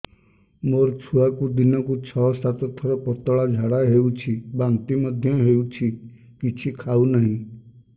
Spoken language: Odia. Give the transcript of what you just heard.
ମୋ ଛୁଆକୁ ଦିନକୁ ଛ ସାତ ଥର ପତଳା ଝାଡ଼ା ହେଉଛି ବାନ୍ତି ମଧ୍ୟ ହେଉଛି କିଛି ଖାଉ ନାହିଁ